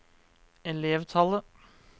elevtallet